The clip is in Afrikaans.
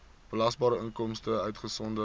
belasbare inkomste uitgesonderd